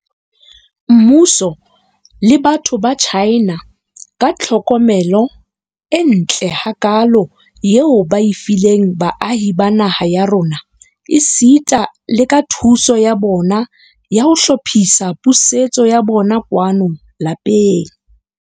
Mmuso le batho ba China ka tlhokomelo e ntle hakaalo eo ba e fileng baahi ba naha ya rona, esita le ka thuso ya bona ya ho hlophisa pusetso ya bona kwano lapeng.